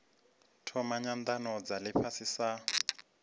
thoma nyanano dza ifhasi sa